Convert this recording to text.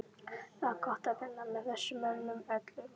Það var gott að vinna með þessum mönnum öllum.